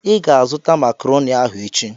I ga-azụta makrọni ahụ echi.